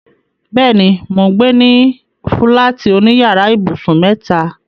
Bẹ́ẹ̀ni, mò ń gbé ní fúláàtì oní yàrá ibùsùn mẹ́ta.